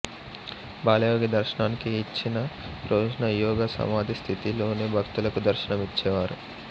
బాలయోగి దర్శనానికి ఇచ్చిన రోజున యోగ సమాధి స్థితిలోనే భక్తులకు దర్శనం ఇచ్చేవారు